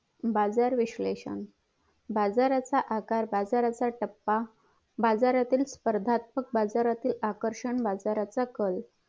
बाजार विश्लेषण बाजाराचा आकार बाजाराचा टप्पा बाजारातील स्पर्धात्मक बाजारातील आकर्षण बाजाराचा कल